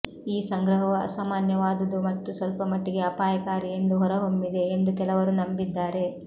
ಈ ಸಂಗ್ರಹವು ಅಸಾಮಾನ್ಯವಾದುದು ಮತ್ತು ಸ್ವಲ್ಪ ಮಟ್ಟಿಗೆ ಅಪಾಯಕಾರಿ ಎಂದು ಹೊರಹೊಮ್ಮಿದೆ ಎಂದು ಕೆಲವರು ನಂಬಿದ್ದಾರೆ